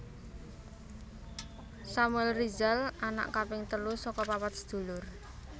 Samuel Rizal anak kaping telu saka papat sedulur